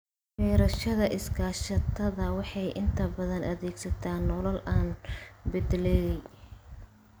Beerashada iskaashatada waxay inta badan adeegsataa noole la beddelay.